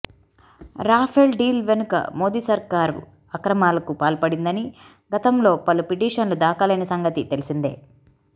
Rafale deal వెనుక మోదీ సర్కారు అక్రమాలకు పాల్పడిందని గతంలో పలు పిటిషన్లు దాఖలైన సంగతి తెలిసిందే